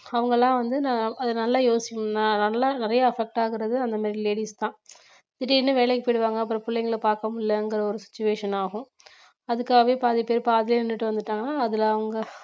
அவுங்கல்லாம் வந்து நான் அது நல்லா யோசிச்சு ந~ நல்லா நிறைய affect ஆகுறது அந்த மாதிரி ladies தான் திடீர்னு வேலைக்கு போயிடுவாங்க அப்புறம் பிள்ளைங்களை பார்க்க முடியலங்கிற ஒரு situation ஆகும் அதுக்காகவே பாதி பேர் பாதியிலே நின்னுட்டு வந்துட்டாங்க அதுல அவங்க